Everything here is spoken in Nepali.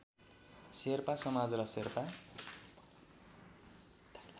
शेर्पा समाज र शेर्पा